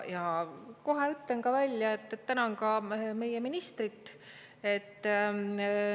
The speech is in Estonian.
Ja kohe ütlen välja, et tänan ka meie ministrit.